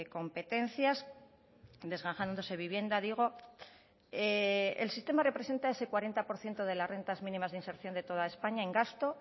competencias desgajándose vivienda digo el sistema representa ese cuarenta por ciento de las rentas mínimas de inserción de toda españa en gasto